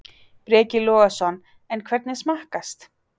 Breki Logason: En hvernig smakkast?